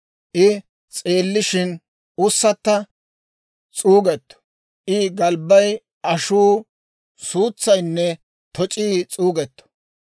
I s'eellishin ussatta s'uugettu; I galbbay, ashuu, suutsaynne toc'ii s'uugetto.